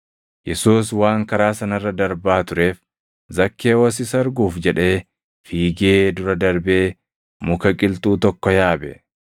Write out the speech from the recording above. Yesuus waan karaa sana irra darbaa tureef, Zakkewoos isa arguuf jedhee fiigee dura darbee muka qilxuu tokko yaabe.